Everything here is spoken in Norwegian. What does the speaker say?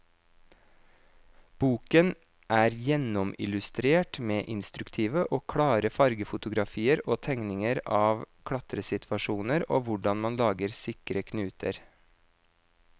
Boken er gjennomillustrert med instruktive og klare fargefotografier og tegninger av klatresituasjoner og hvordan man lager sikre knuter.